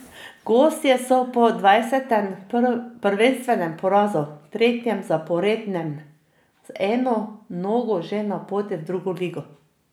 Gostje so po dvajsetem prvenstvenem porazu, tretjem zaporednem, z eno nogo že na poti v drugo ligo.